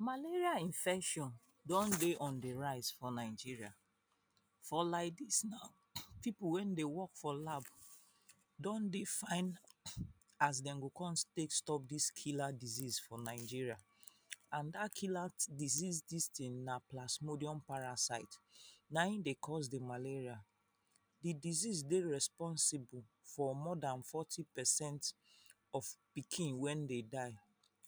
Malaria infection don dey on di rise for Nigeria for like dis now people wey dey work for lab don dey find as dey go kon take stop dis killer disease for Nigeria and dat killer disease dis tin na plasmodium parasite naim dey cos di malaria, di disease dey responsible for more than fourty percent of pikin wey dey die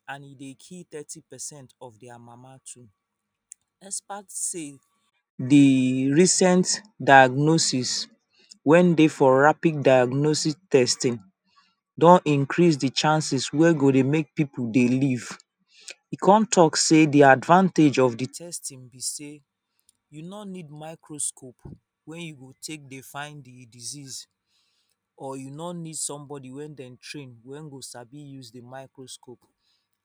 and e dey kill thirty percent of dia mama too despite sey di recent diagnosis wey dey for rapid diagnosis testing don increase di chances wey go dey make pipu dey live don talk say di advantage of di testing be sey you no need microscope wey you go take dey find di disease or e no need somebody wey dem train wey go sabi use di microscope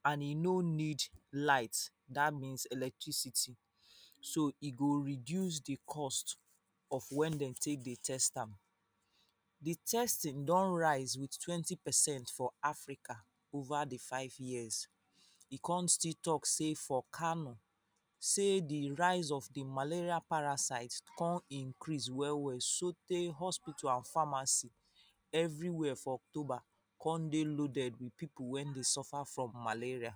and e no need light dat means electricity so e go reduce di cost of wen dey take dey test am. Di testing don rise with twenty percent for Africa over di five years, e kon still talk say for kano sey di rise of di malaria parasite kon increase well well sotey hospital and pharmacy everywhere for October kon dey with pipu wey dey suffer from malaria.